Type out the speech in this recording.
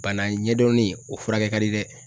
Bana ɲɛdɔnnen o furakɛ kadi dɛ